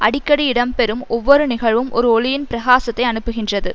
அடிக்கடி இடம் பெறும் ஒவ்வொரு நிகழ்வும் ஒரு ஒளியின் பிரகாசத்தை அனுப்புகின்றது